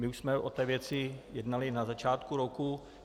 My už jsme o té věci jednali na začátku roku.